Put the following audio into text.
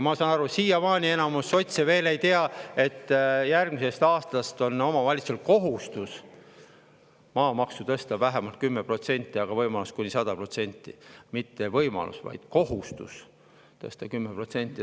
Ma saan aru, et siiamaani enamus sotse veel ei tea, et järgmisest aastast on omavalitsustel kohustus tõsta maamaksu vähemalt 10% ja võimalus kuni 100% – mitte võimalus, vaid kohustus tõsta 10%.